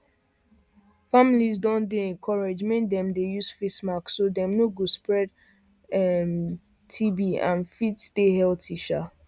families don dey encouraged make dem dey use face mask so dem no go spread tb and fit stay healthy um